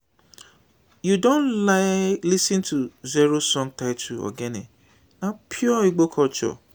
you don lis ten to zoro song titled ogene na pure igbo culture